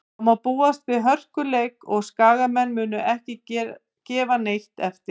Það má búast við hörkuleik og Skagamenn munu ekki gefa neitt eftir.